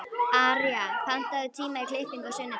Arja, pantaðu tíma í klippingu á sunnudaginn.